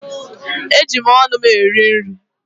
Eji m ọnụ m eri nri.